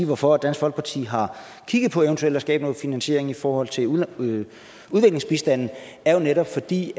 hvorfor dansk folkeparti har kigget på eventuelt at skabe noget finansiering i forhold til udviklingsbistanden det er jo netop fordi